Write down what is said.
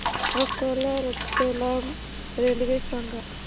Akola Ratlam railway सांगा